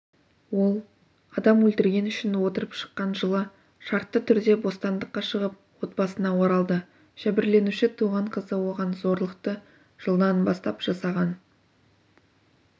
ол адам өлтіргені үшін отырып шыққан жылы шартты түрде бостандыққа шығып отбасына оралды жәбірленуші туған қызы оған зорлықты жылдан бастап жасаған